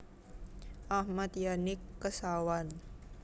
Ahmad Yani Kesawan